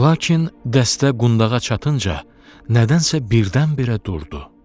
Lakin dəstə qundağa çatınca nədənsə birdən-birə durdu.